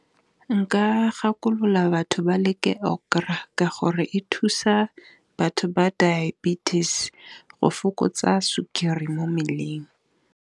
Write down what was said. Nka gakolola batho ba leke okra, ka gore e thusa batho ba diabetes go fokotsa sukiri mo mmeleng.